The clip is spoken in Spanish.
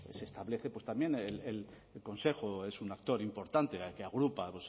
pues se establece pues también el consejo es un actor importante el que agrupa